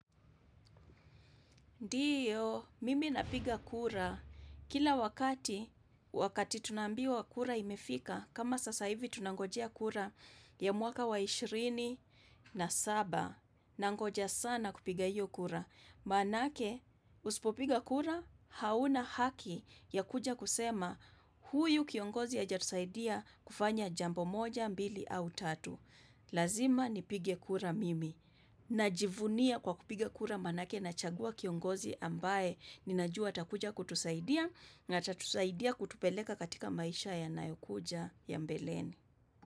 Ndiyo, mimi napiga kura. Kila wakati, wakati tunaambiwa kura imefika, kama sasa hivi tunangojea kura ya mwaka wa ishirini na saba. Nangoja sana kupiga iyo kura. Maanake, usipo piga kura, hauna haki ya kuja kusema, huyu kiongozi hajatusaidia kufanya jambo moja, mbili au tatu. Lazima nipige kura mimi Najivunia kwa kupiga kura manake na chagua kiongozi ambaye Ninajua atakuja kutusaidia na atatusaidia kutupeleka katika maisha ya nayokuja ya mbeleni.